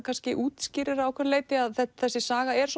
kannski útskýrir að ákveðnu leyti að þessi saga er